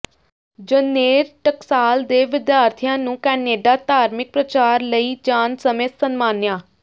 ਜਨੇਰ ਟਕਸਾਲ ਦੇ ਵਿਦਿਆਰਥੀਆਂ ਨੂੰ ਕੈਨੇਡਾ ਧਾਰਮਿਕ ਪ੍ਰਚਾਰ ਲਈ ਜਾਣ ਸਮੇਂ ਸਨਮਾਨਿਆ